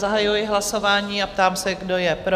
Zahajuji hlasování a ptám se, kdo je pro?